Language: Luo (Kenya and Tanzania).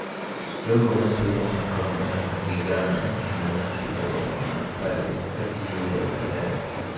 Jogo ma siro Macron gana gi gana notimo nyasi e boma ma Paris ka giyueyo bendera.